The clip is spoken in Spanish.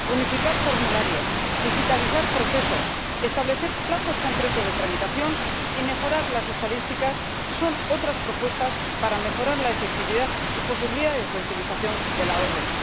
Unificar formularios, digitalizar procesos, establecer plazos concretos de tramitación y mejorar las estadísticas son otras propuestas para mejorar la efectividad y las posibilidades de utilización de la orden.